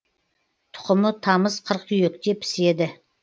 тұқымы тамыз қыркүйекте піседі